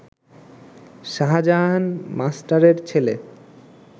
শাজাহান মাস্টারের ছেলে